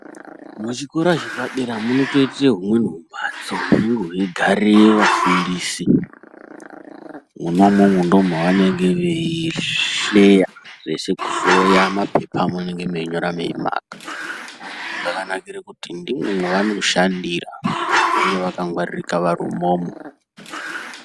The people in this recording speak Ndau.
Muzvikora zvepadera munotoita humweni mumbatso hunenge weigarira vafundisi mwona imomo ndomavanenge veihleya zvose kuhloya mapepa amunenge meinyora meimaka zvakanakira kuti ndiwo mavanenge veishandira vakangwaririka vari imwomwo.